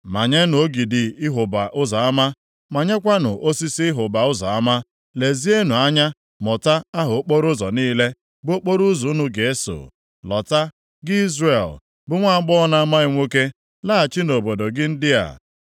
“Manyenụ ogidi ịhụba ụzọ ama, manyekwanụ osisi ịhụba ụzọ ama. Lezienụ anya mụta aha okporoụzọ niile, bụ okporoụzọ unu ga-eso. Lọta, gị Izrel, bụ nwaagbọghọ na-amaghị nwoke, laghachi nʼobodo gị ndị a.